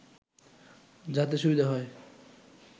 যাতে সুবিধা হয়